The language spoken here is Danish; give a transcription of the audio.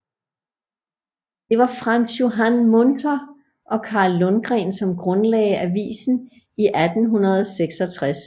Det var Frans Johan Munther og Carl Lundgren som grundlagde avisen i 1866